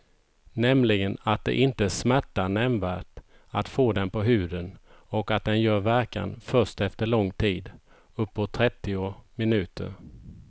Nämligen att det inte smärtar nämnvärt att få den på huden och att den gör verkan först efter lång tid, uppåt trettio minuter.